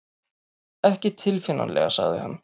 Ekki tilfinnanlega sagði hann.